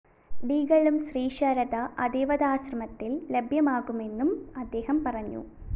ഡികളും ശ്രീ ശാരദ അദൈ്വതാശ്രമത്തില്‍ ലഭ്യമാകുമെന്നും അദ്ദേഹം പറഞ്ഞു